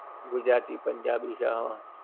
ગુજરાતી, પંજાબી છે હા.